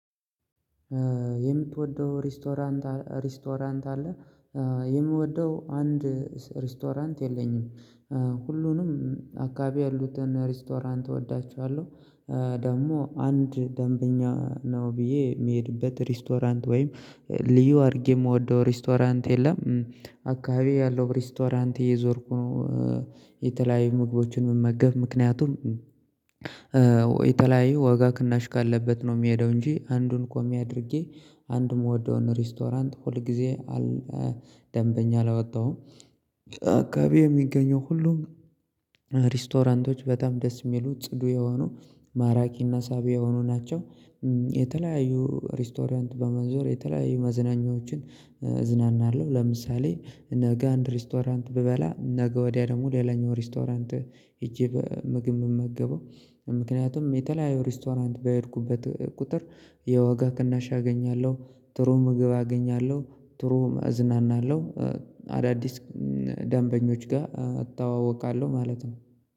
የምትወደው ሬስቶራንት ሬስቶራንት አለ? የምወደው አንድ ሬስቶራንት የለኝም። ሁሉንም አካባቢ ያሉትን ሬስቶራንት እወዳችኋለሁ። ደግሞ አንድ ደንበኛ ነው ብዬ የምሄድበት ሬስቶራንት ወይም ልዩ አድርጌ የምወደው ሬስቶራንት የለም አካባቢ ያለው ሬስቶራንት እየዞርኩ ነው። የተለያዩ ምግቦችን መመገብ ምክንያቱም የተለያየ ወጋ ቅናሽ ካለበት ነው የሚሄደው እንጂ አንዱን ቆሚ አድርጌ አንድ የምወደውን ሬስቶራንት ሁል ጊዜ አል ደንበኛ አላወጣሁም። አካባቢ የሚገኘው ሁሉ ሪስቶራንቶች በጣም ደስ የሚሉ ጽዱ የሆኑ ማራኪና ሳቢ የሆኑ ናቸው። የተለያዩ ሬስቶሪያንት በመዞር የተለያዩ መዝናኛዎችን እዝናናለሁ። ለምሳሌ ነገ አንድ ሬስቶራንት ብበላ ነገ ወዲያ ደግሞ ሌላኛው ሬስቶራንት ሄጄ ምግብ የምመገበው ምክንያቱም የተለያየ ሬስቶራንት በሄድኩበት ቁጥር የወጋ ቅናሽ አገኛለሁ ጥሩ ምግብ አገኛለሁ ጥሩ እዝናናለሁ። አዳዲስ ደንበኞች ጋር እተዋውቃለሁ ማለት ነው